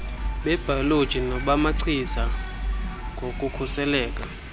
bebhayoloji nobamachiza ngokukhuselayo